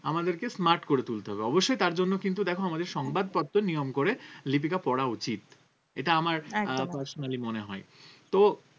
আমাদেরকে smart করে তুলতে হবে অবশ্যই তার জন্য কিন্তু দেখো আমাদের সংবাদপত্র নিয়ম করে লিপিকা পড়া উচিত এটা আমার personally মনে হয় তো